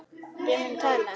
Ég mun tala.